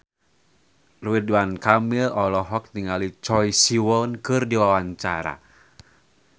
Ridwan Kamil olohok ningali Choi Siwon keur diwawancara